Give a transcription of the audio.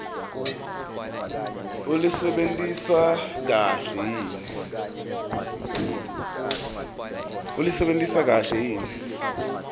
ulisebentise kahle yini